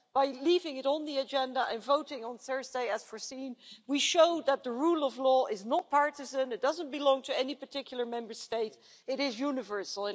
By leaving it on the agenda and voting on Thursday as foreseen, we show that the rule of law is not partisan, it doesn't belong to any particular Member State, and it is universal.